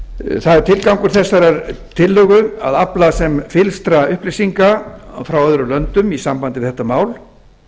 það er tilgangur þessarar tillögu að afla sem fyllstra upplýsinga frá öðrum löndum í sambandi við þetta mál